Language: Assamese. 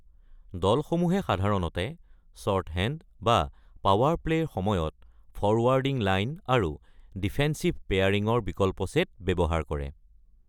দলসমূহে সাধাৰণতে শ্বৰ্টহেণ্ড বা পাৱাৰ প্লে'ৰ সময়ত ফৰৱাৰ্ডিং লাইন আৰু ডিফেন্সিভ পেয়াৰিঙৰ বিকল্প ছেট ব্যৱহাৰ কৰে।